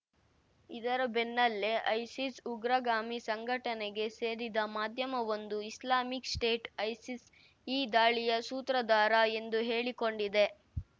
ಇದರ ಬೆನ್ನಲ್ಲೇ ಐಸಿಸ್‌ ಉಗ್ರಗಾಮಿ ಸಂಘಟನೆಗೆ ಸೇರಿದ ಮಾಧ್ಯಮವೊಂದು ಇಸ್ಲಾಮಿಕ್‌ ಸ್ಟೇಟ್‌ ಐಸಿಸ್‌ ಈ ದಾಳಿಯ ಸೂತ್ರಧಾರ ಎಂದು ಹೇಳಿಕೊಂಡಿದೆ